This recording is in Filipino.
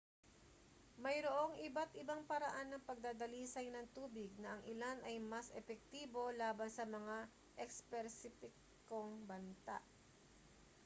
mayroong iba't-ibang paraan ng pagdadalisay ng tubig na ang ilan ay mas epektibo laban sa mga espesipikong banta